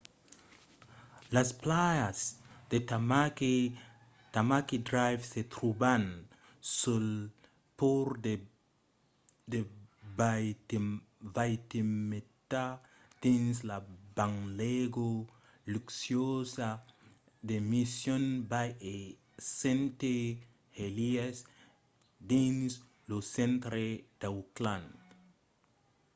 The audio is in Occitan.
las plajas de tamaki drive se tròban sul pòrt de waitemata dins la banlèga luxuosa de mission bay e st heliers dins lo centre d'auckland